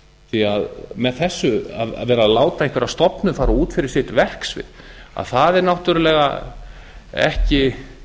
því að með þessu að vera að láta einhverja stofnun fara út fyrir sitt verksvið er náttúrlega ekki